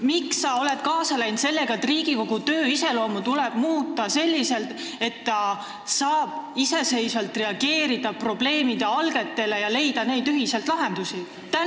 Miks sa ei ole kaasa läinud selle mõttega, et Riigikogu töö iseloomu tuleks muuta selliselt, et ta saaks iseseisvalt reageerida probleemide algetele ja ühiselt leida lahendusi?